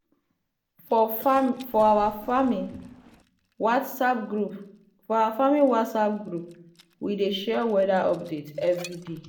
for our farming whatsapp group we dey share weather update every day.